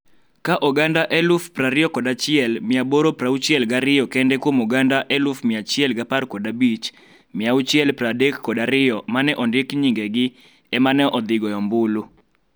ka oganda 21,862 kende kuom oganda 115,632 ma ne ondiki nying-gi e ma ne odhi goyo ombulu.